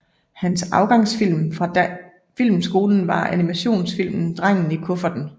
Hans afgangsfilm fra filmskolen var animationsfilmen Drengen i kufferten